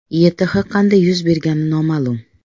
YTH qanday yuz bergani noma’lum.